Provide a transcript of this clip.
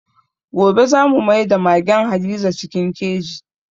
Gobe za mu maida magen Hadiza cikin keji.